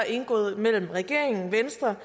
indgået mellem regeringen venstre